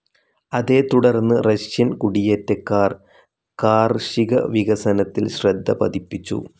ഇതേത്തുടർന്ന് റഷ്യൻ കുടിയേറ്റക്കാർ കാർഷികവികസനത്തിൽ ശ്രദ്ധപതിപ്പിച്ചു.